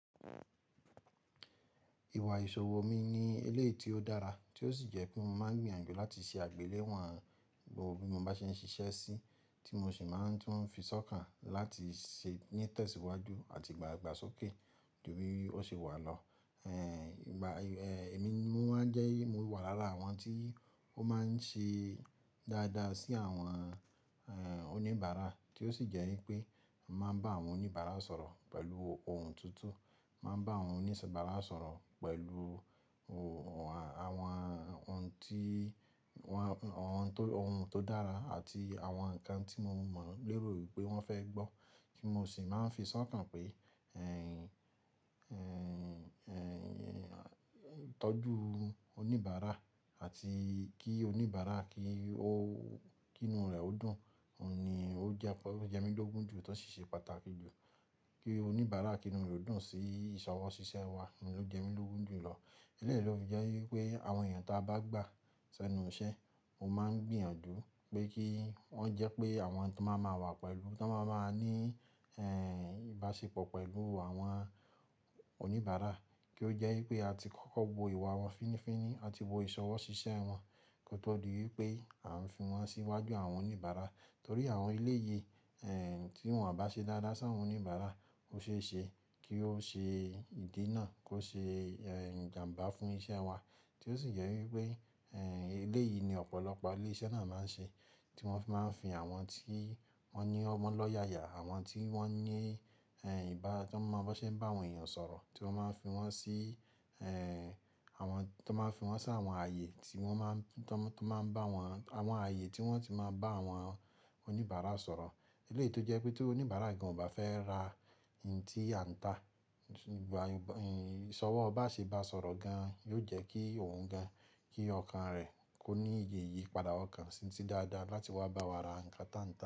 Ìwà ìṣòwò mi ní éléyì tí ó dára tí ó sì jẹ́ pé mo máa ń gbìyànjú láti ṣe àgbéléwò gbogbo bí mo bá ṣe ń ṣiṣẹ́ sí, tí mo sì máa ń tún fi sọ́kàn láti ṣe ní tẹsiwaju àti ìgbàgbàsókè jù bi ó ṣe wà lọ. Ẹ̀mi jẹ́ mo wà lára àwọn tí ó máa ń ṣe dáadáa sí àwọn oníbàárà, tí ó sì jẹ́ wípé màá bá àwọn oníbàárà sọ̀rọ̀ pẹ̀lú ohun tutu, màá bá àwọn oníbàárà sọ̀rọ̀ pẹ̀lú àwọn ohun tó dára àti àwọn ǹkan tí mo mọ̀ gbéró wípé wọ́n fẹ́ gbọ́ kí mo sì máa ń fi sọ́kàn pé ìtọ́jú oníbàárà àti kí oníbàárà kí inú rẹ̀ ó dùn ni ó jẹ́ mi lógún jù tí ó sì ṣe pàtàkì jù. Kí oníbàárà inú rẹ̀ ó dùn sí ìṣọwọ́ ṣiṣẹ́ wa ni ó jẹ́ mi lógún jù lọ. Eléyìí ló fi jẹ́ wípé àwọn èèyàn tí a bá gbà sẹ́nu iṣẹ́, mo máa ń gbìyànjú pé kí wọ́n jẹ́ pé àwọn tí wọ́n máa wà pẹ̀lú, tí wọ́n máa ní ìbáṣepọ̀ pẹ̀lú àwọn oníbàárà kí ó jẹ́ wípé a ti kọ́kọ́ wo ìwà wọn fínnífínní, a ti wo ìṣọwọ́ ṣiṣẹ́ wọn kí ó tó di wípé à ń fi wọ́n sí iwájú àwọn oníbàárà. Torí àwọn eléyìí tí wọn ò bá ṣe dáadáa sí àwọn oníbàárà, ó ṣe é ṣe kí ó ṣe ìdí náà kó ṣe ìjàǹbá fún iṣẹ́ wa tí ó sì jẹ́ wípé eléyìí ni ọ̀pọ̀lọpọ̀ ilé iṣẹ́ náà máa ń ṣe tí wọ́n fi máa ń fi àwọn tí wọ́n ní ọmọ lọ́ yà yà, àwọn tí wọ́n ní ìbá, tí wọ́n máa ń bá àwọn èèyàn sọ̀rọ̀ tí wọ́n máa ń fi wọ́n sí àwọn ayé tí wọ́n ti máa ń bá àwọn oníbàárà sọ̀rọ̀. Eléyìí tó jẹ́ pé tí oníbàárà gan ò bá fẹ́ ra ohun tí a ń tà, ìṣọwọ́ bá ṣe bá a sọ̀rọ̀ gan, yóò jẹ́ kí òun gan, kí ọkàn rẹ̀ kó ní iye ìyípadà ọkàn sí dáadáa láti wá bá wa ra ǹkan táǹtà.